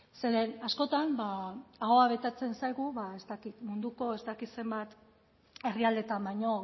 zeren askotan ahoa betetzen zaigu ba ez dakit munduko ez dakit zenbat herrialdetan baino